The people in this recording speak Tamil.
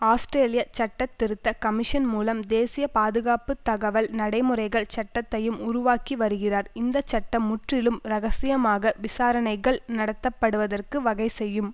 ஆஸ்திரேலிய சட்டத்திருத்த கமிஷன் மூலம் தேசிய பாதுகாப்பு தகவல் நடைமுறைகள் சட்டத்தையும் உருவாக்கி வருகிறார் இந்தச்சட்டம் முற்றிலும் ரகசியமாக விசாரணைகள் நடத்த படுவதற்கு வகை செய்யும்